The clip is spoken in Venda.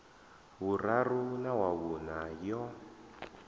vhuraru na wa vhuṋa yo